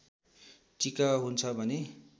टीका हुन्छ भने